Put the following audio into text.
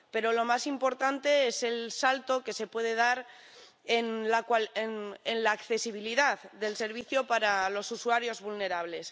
Pero lo más importante es el salto que se puede dar en la accesibilidad del servicio para los usuarios vulnerables.